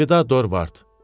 Əlvida Dorvard.